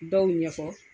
Dɔw ɲɛfɔ